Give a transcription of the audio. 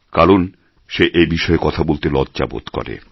কারণ সে এবিষয়ে কথা বলতে লজ্জা বোধ করে